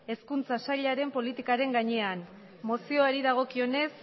hezkuntza sailaren politikaren gainean mozioari dagokionez